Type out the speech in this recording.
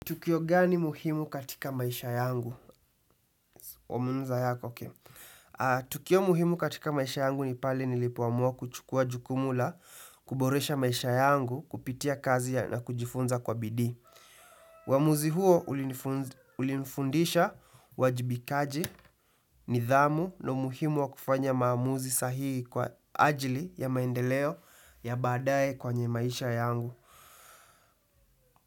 Tukio gani muhimu katika maisha yangu? Tukio muhimu katika maisha yangu ni pale nilipoamua kuchukua jukumu la, kuboresha maisha yangu, kupitia kazi na kujifunza kwa bidii. Uamuzi huo ulinifundisha uwajibikaji, nidhamu na umuhimu wa kufanya maamuzi sahihi kwa ajili ya maendeleo ya badaye kwenye maisha yangu.